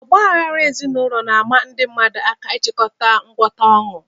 Ọgba aghara ezinụlọ na-ama ndị mmadụ aka ịchọkọta ngwọta ọnụ.